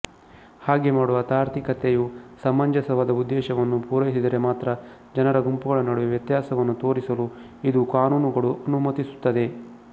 ಹಾಗೆ ಮಾಡುವ ತಾರ್ಕಿಕತೆಯು ಸಮಂಜಸವಾದ ಉದ್ದೇಶವನ್ನು ಪೂರೈಸಿದರೆ ಮಾತ್ರ ಜನರ ಗುಂಪುಗಳ ನಡುವೆ ವ್ಯತ್ಯಾಸವನ್ನು ತೋರಿಸಲು ಇದು ಕಾನೂನುಗಳು ಅನುಮತಿಸುತ್ತದೆ